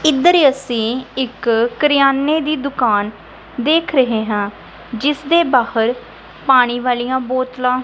ਇਧਰ ਅਸੀਂ ਇੱਕ ਕਰਿਆਨੇ ਦੀ ਦੁਕਾਨ ਦੇਖ ਰਹੇ ਹਾਂ ਜਿਸ ਦੇ ਬਾਹਰ ਪਾਣੀ ਵਾਲੀਆਂ ਬੋਤਲਾਂ --